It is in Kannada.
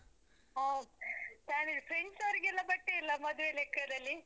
ಹೋ! family friends ಅವ್ರಿಗೆಲ್ಲ ಬಟ್ಟೆ ಇಲ್ಲ ಮದ್ವೆ ಲೆಕ್ಕದಲ್ಲಿ?